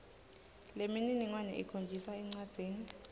lemininingwane ikhonjiswa encwadzini